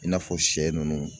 I n'a fɔ sɛ ninnu